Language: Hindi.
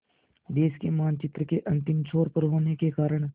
देश के मानचित्र के अंतिम छोर पर होने के कारण